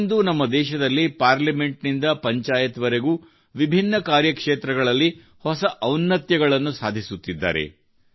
ಇಂದು ನಮ್ಮ ದೇಶದಲ್ಲಿ ಪಾರ್ಲಿಮೆಂಟ್ ನಿಂದ ಪಂಚಾಯತ್ ವರೆಗೂ ವಿಭಿನ್ನ ಕಾರ್ಯಕ್ಷೇತ್ರಗಳಲ್ಲಿ ಹೊಸ ಔನ್ನತ್ಯಗಳನ್ನು ಸಾಧಿಸುತ್ತಿದ್ದಾರೆ